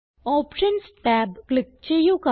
options tab click ചെയ്യുക